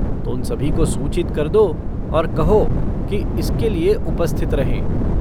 तो उन सभी को सूचित कर दो और कहो कि इसके लिये उपस्थित रहें।